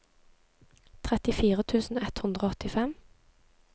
trettifire tusen ett hundre og åttifem